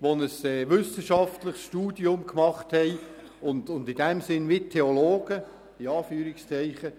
Imame, die ein wissenschaftliches Studium gemacht haben und in diesem Sinn wie Theologen wirken.